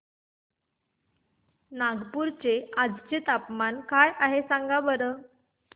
नागपूर चे आज चे तापमान काय आहे सांगा बरं